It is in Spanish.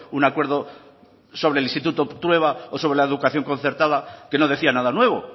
un acuerdo sobre el instituto trueba o sobre la educación concertada que no decía nada nuevo